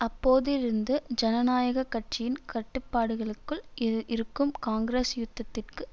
அப்போதிருந்து ஜனநாயக கட்சியின் கட்டுப்பாடுகலுக்குள் இருக்கும் காங்கிரஸ் யுத்தத்திற்கு